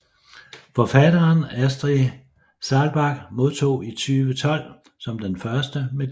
Forfatteren Astrid Saalbach modtog i 2012 som den første medaljen